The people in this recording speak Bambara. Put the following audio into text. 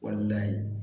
Walahi